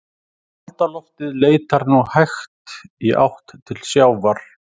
Kalda loftið leitar nú hægt í átt til sjávar.